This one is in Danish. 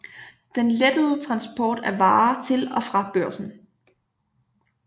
Den lettede transport af varer til og fra Børsen